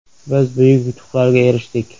Biz buyuk yutuqlarga erishdik.